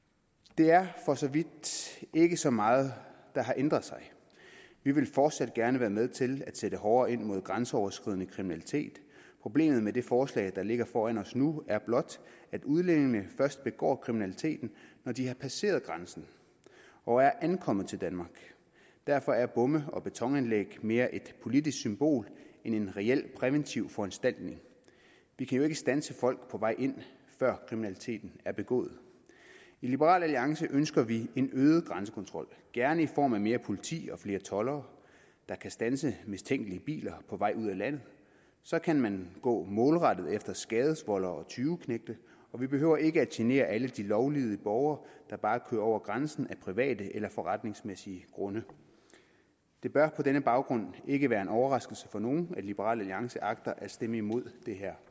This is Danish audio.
det er for så vidt ikke så meget der har ændret sig vi vil fortsat gerne være med til at sætte hårdere ind mod grænseoverskridende kriminalitet problemet med det forslag der ligger foran os nu er blot at udlændingene først begår kriminaliteten når de har passeret grænsen og er ankommet til danmark derfor er bomme og betonanlæg mere et politisk symbol end en reel præventiv foranstaltning vi kan jo ikke standse folk på vej ind før kriminaliteten er begået i liberal alliance ønsker vi en øget grænsekontrol gerne i form af mere politi og flere toldere der kan standse mistænkelige biler på vej ud af landet så kan man gå målrettet efter skadevoldere og tyveknægte og vi behøver ikke at genere alle de lovlydige borgere der bare kører over grænsen af private eller forretningsmæssige grunde det bør på denne baggrund ikke være en overraskelse for nogen at liberal alliance agter at stemme imod